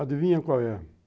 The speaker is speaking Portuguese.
Adivinha qual é?